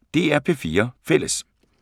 DR P4 Fælles